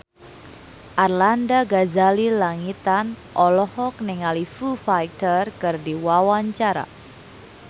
Arlanda Ghazali Langitan olohok ningali Foo Fighter keur diwawancara